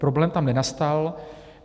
Problém tam nenastal.